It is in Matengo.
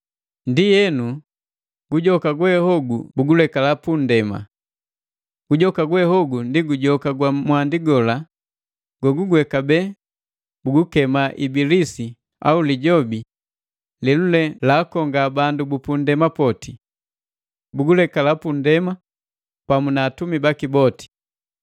Ndienu gujoka gwe hogu bugulekala punndema. Gujoka gwehogu ndi gujoka gwa mwandi lela lelule kabee bilikema Ibilisi au Lijobi lelule laakonga bandu bu punndema poti. Bugulekala punndema pamu na atumi baki boti.